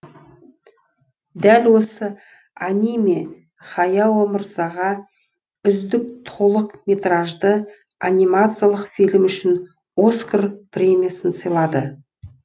дәл осы аниме хаяо мырзаға үздік толық метражды анимациялық фильм үшін оскар премиясын сыйлады